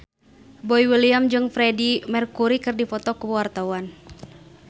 Boy William jeung Freedie Mercury keur dipoto ku wartawan